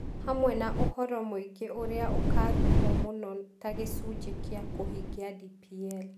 Hamwe na ũhoro mũingĩ ũrĩa ũkaarutwo mũno ta gĩcunjĩ kĩa kũhingia DPL.